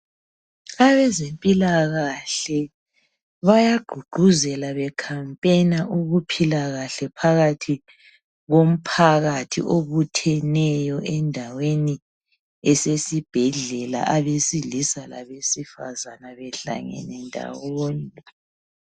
Abezempilakahle, bayagqugquzela becampaigner. Ukuphila kahle komphakathi obutheneyo endaweni esesibhedlela. Abesilisa, labesifazana, behlangene ndawonye.